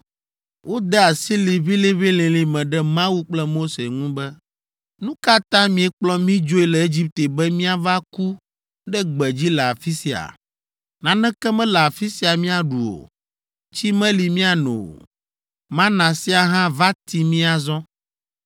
Wode asi liʋĩliʋĩlilĩ me ɖe Mawu kple Mose ŋu be, “Nu ka ta miekplɔ mí dzoe le Egipte be míava ku ɖe gbedzi le afi sia? Naneke mele afi sia míaɖu o, tsi meli míano o, mana sia hã va ti mí azɔ.”